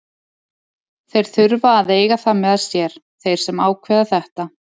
Þeir þurfa að eiga það með sér, þeir sem ákveða þetta.